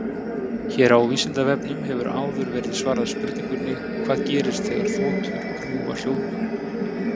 Hér á Vísindavefnum hefur áður verið svarað spurningunni Hvað gerist þegar þotur rjúfa hljóðmúrinn?